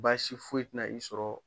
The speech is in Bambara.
Baasi foyi ti na i sɔrɔ